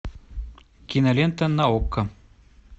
кинолента на окко